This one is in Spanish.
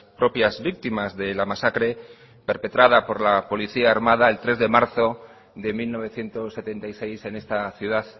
propias víctimas de la masacre perpetrada por la policía armada el tres de marzo de mil novecientos setenta y seis en esta ciudad